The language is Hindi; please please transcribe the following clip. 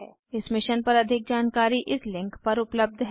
इस मिशन पर अधिक जानकारी इस लिंक पर उपलब्ध है